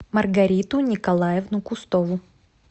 маргариту николаевну кустову